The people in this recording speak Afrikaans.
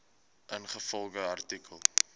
ingevolge artikel